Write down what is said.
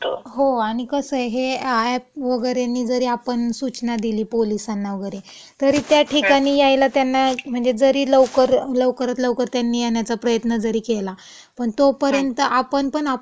हो, आणि कसंये हे अॅप वगैरेनीं जरी आपण सुचना दिली पुलीसांना वैगरे तरी त्या ठिकाणी यायला त्यांना म्हणजे जरी लवकर, लवकरात त्यांनी येण्याचा प्रयत्न जरी केला पण तोपर्यंत आपण पण, हम्म.हम्म.